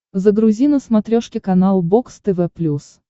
загрузи на смотрешке канал бокс тв плюс